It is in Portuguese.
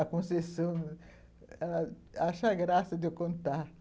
A Conceição, ela acha graça de eu contar.